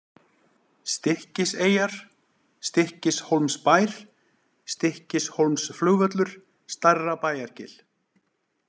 Stykkiseyjar, Stykkishólmsbær, Stykkishólmsflugvöllur, Stærrabæjargil